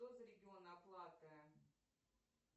что за регион оплаты